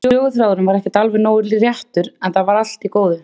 Söguþráðurinn var ekki alveg nógu réttur, en það var allt í góðu.